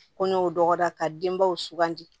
Kɔɲɔw dɔgɔ ka denbaw sugandi